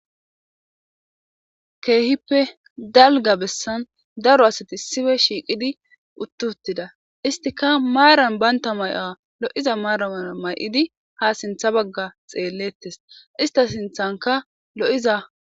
keehippe dalga bessan daro asati issippe shiiqidi utti uttida istika maaran banta may7a lo7iza maara maya may7idi ha sintha bagga xeellettes istta sinthanka lo7iza